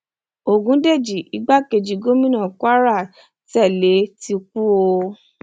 ògúndẹjì igbákejì gómìnà kwara tẹlẹ ti kú o